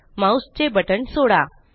mouse चे button सोडा